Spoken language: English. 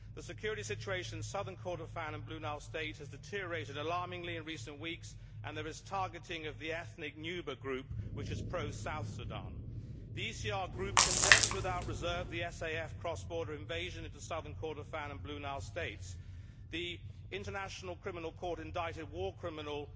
The security situation in Southern Kordofan and Blue Nile State has deteriorated alarmingly in recent weeks and there is targeting of the ethnic Nuba group which is pro South Sudan. The ECR Group condemns without reserve the SAF cross border invasion into Southern Kordofan and Blue Nile State. The International Criminal Court indicted war criminal